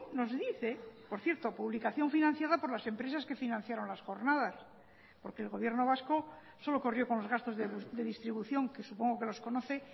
nos dice por cierto publicación financiada por las empresas que financiaron las jornadas porque el gobierno vasco solo corrió con los gastos de distribución que supongo que los conoce